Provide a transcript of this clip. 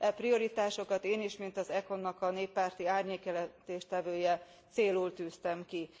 E prioritásokat én is mint az ECON nak a néppárti árnyékjelentéstevője célul tűztem ki.